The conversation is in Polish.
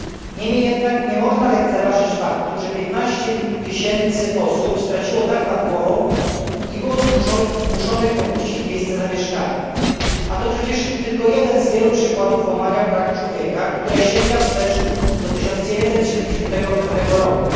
Niemniej jednak nie można lekceważyć faktu, że 15 tysięcy osób straciło dach nad głową i było zmuszonych opuścić miejsce zamieszkania, a to przecież tylko jeden z przykładów łamania praw człowieka, które sięga wstecz do 1975 roku.